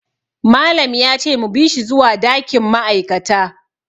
Malam ya ce mu bi shi zuwa dakin ma'aikata.